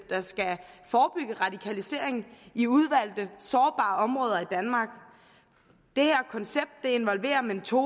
der skal forebygge radikalisering i udvalgte sårbare områder i danmark dette koncept involverer mentorer